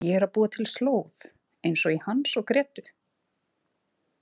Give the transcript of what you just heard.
Ég er að búa til slóð, eins og í Hans og Grétu.